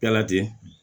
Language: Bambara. Yala ten